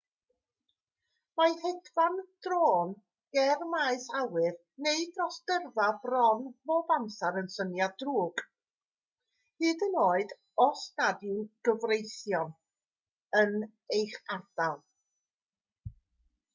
mae hedfan drôn ger maes awyr neu dros dyrfa bron bob amser yn syniad drwg hyd yn oed os nad yw'n anghyfreithlon yn eich ardal